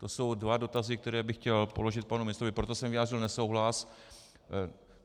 To jsou dva dotazy, které bych chtěl položit panu ministrovi, proto jsem vyjádřil nesouhlas.